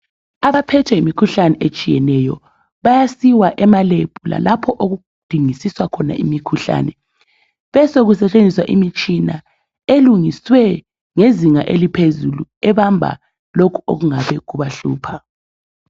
Abaphethe yimikhuhlane etshiyeneyo bayasiwa ema lab lalapho okudingisiswa khona imikhuhlane besoku setshenziswa imitshina elungiswe ngezinga eliphezulu ebamba lokhu okungabe kubahlupha.